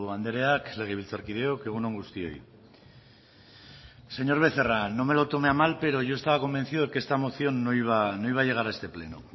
andrea legebiltzarkideok egun on guztioi señor becerra no me lo tome a mal pero yo estaba convencido de que esta moción no iba a llegar a este pleno